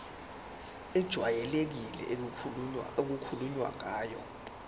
ejwayelekile okukhulunywe ngayo